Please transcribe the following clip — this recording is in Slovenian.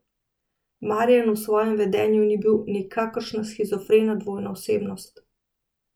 Marijan v svojem vedenju ni bil nikakršna shizofrena dvojna osebnost!